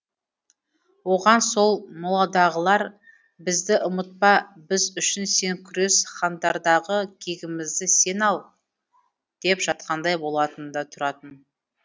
оған сол моладағылар бізді ұмытпа біз үшін сен күрес хандардағы кегімізді сен ал деп жатқандай болатын да тұратын